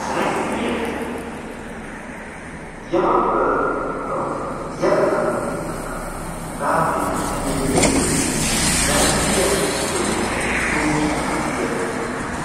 zarphphiyaa yabagganne ha bagga yagadanne hagada gaattidi xeelliyoodee zarphphiya giddon mettiidi de'iya